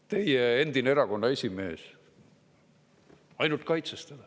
Teie endine erakonna esimees ainult kaitses teda.